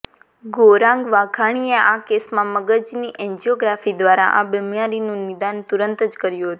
ગૌરાંગ વાઘાણીએ આ કેસમાં મગજની એન્જિયોગ્રાફી દ્વારા આ બિમારીનું નિદાન તુરંત જ કર્યુ હતું